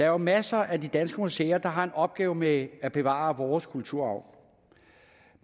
jo masser af de danske museer der har en opgave med at bevare vores kulturarv